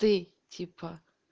ты типа